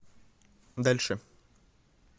дальше